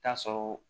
Taa sɔrɔ